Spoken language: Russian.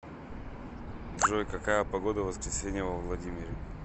джой какая погода в воскресенье во владимире